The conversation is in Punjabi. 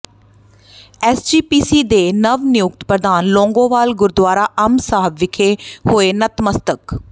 ਐਸਜੀਪੀਸੀ ਦੇ ਨਵ ਨਿਯੁਕਤ ਪ੍ਰਧਾਨ ਲੌਂਗੋਵਾਲ ਗੁਰਦੁਆਰਾ ਅੰਬ ਸਾਹਿਬ ਵਿਖੇ ਹੋਏ ਨਤਮਸਤਕ